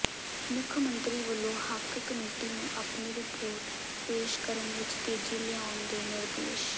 ਮੁੱਖ ਮੰਤਰੀ ਵੱਲੋਂ ਹੱਕ ਕਮੇਟੀ ਨੂੰ ਆਪਣੀ ਰਿਪੋਰਟ ਪੇਸ਼ ਕਰਨ ਵਿਚ ਤੇਜ਼ੀ ਲਿਆਉਣ ਦੇ ਨਿਰਦੇਸ਼